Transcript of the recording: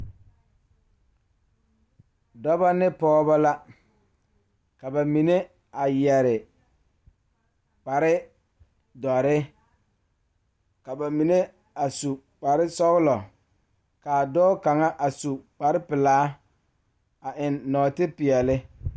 Dɔɔba ne pɔgeba la ka bamine a yeere kparre kaa dɔɔ kaŋa a are a su kpare pelaa kaa Yiri a die dankyini are kaa kolbaare a dɔgle tabol naate pele.